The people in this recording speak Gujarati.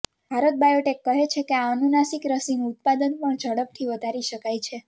ભારત બાયોટેક કહે છે કે આ અનુનાસિક રસીનું ઉત્પાદન પણ ઝડપથી વધારી શકાય છે